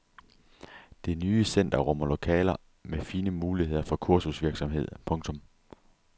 Det nye center rummer lokaler med fine muligheder for kursusvirksomhed. punktum